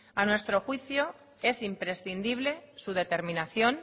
a nuestro juicio es imprescindible su determinación